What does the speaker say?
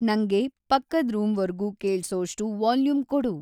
ನಂಗೆ ಪಕ್ಕದ್‌ ರೂಮ್ವರ್ಗೂ ಕೇಳ್ಸೋಷ್ಟು ವಾಲ್ಯೂಮ್‌ ಕೊಡು